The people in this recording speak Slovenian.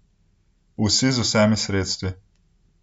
Vsi z vsemi sredstvi.